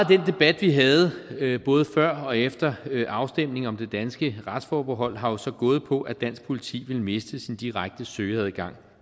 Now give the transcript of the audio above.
den debat vi havde både før og efter afstemningen om det danske retsforbehold har jo så gået på at dansk politi ville miste sin direkte søgeadgang